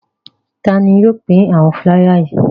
Ta ni yóò pín àwọn fúláyà wọ̀nyí?